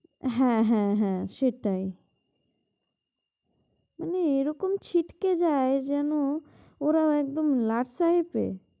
হ্যাঁ হ্যাঁ হ্যাঁ সেটাই। মানে এরকম ছিটটে যায় যেন ওরা একদম লাট সাহেবরে!